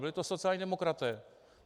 Byli to sociální demokraté.